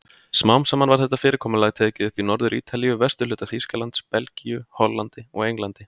Smám saman var þetta fyrirkomulag tekið upp í Norður-Ítalíu, vesturhluta Þýskalands, Belgíu, Hollandi og Englandi.